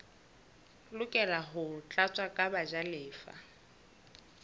lokela ho tlatswa ke bajalefa